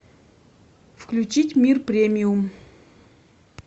включить мир премиум